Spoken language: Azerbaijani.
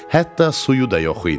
Hətta suyu da yox idi.